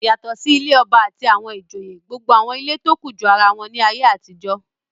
Yàtọ̀ sí ilé ọba àti àwọn ìjòyè gbogbo àwọn ilé tó kù jọ ara wọn láyé àtijọ́.